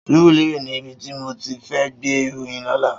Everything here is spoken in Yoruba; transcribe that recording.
Surulere ni ibi ti mó ti fè gbé iróyìn lòlá